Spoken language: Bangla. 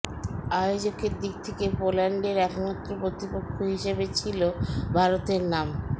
আয়োজকের দিক থেকে পোল্যান্ডের একমাত্র প্রতিপক্ষ হিসাবে ছিল ভারতের নাম